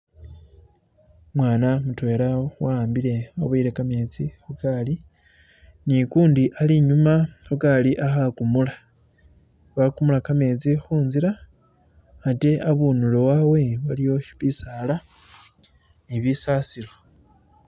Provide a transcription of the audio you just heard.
Umwana mutwela awambile... waboyele kametsi khugali n'ukundi alinyuma khu gaali alikugumula, alikhukumula kametsi khunzila ate abundulo wawe aliwo bisdala ni bisasilo.